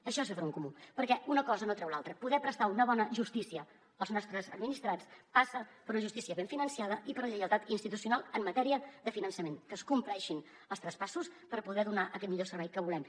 això és fer front comú perquè una cosa no treu l’altra poder prestar una bona justícia als nostres administrats passa per una justícia ben finançada i per la lleialtat institucional en matèria de finançament que es compleixin els traspassos per poder donar aquest millor servei que volem